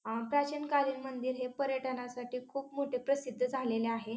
आ प्राचीन कालीन मंदिर हे पर्यटनासाठी खूप मोठे प्रसिद्ध झालेले आहे.